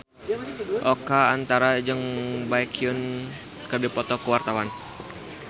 Oka Antara jeung Baekhyun keur dipoto ku wartawan